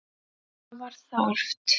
Það var þarft.